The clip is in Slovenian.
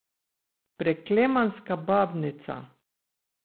Preklemanska babnica.